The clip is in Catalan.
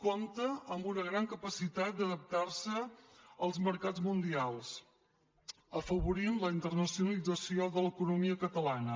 compta amb una gran capacitat d’adaptar se als mercats mundials afavorint la internacionalització de l’economia catalana